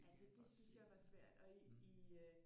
Altså det syntes jeg var svært og i øh